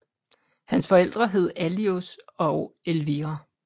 Hans forældre hed Alois og Elvira